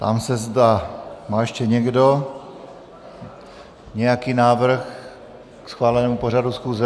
Ptám se, zda má ještě někdo nějaký návrh k schválenému pořadu schůze.